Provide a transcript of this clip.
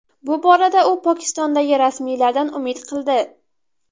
Bu borada u Pokistondagi rasmiylardan umid qildi.